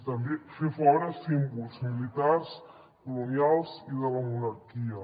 també fer fora símbols militars colonials i de la monarquia